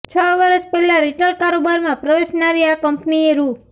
છ વર્ષ પહેલાં રિટેલ કારોબારમાં પ્રવેશનારી આ કંપનીએ રૂ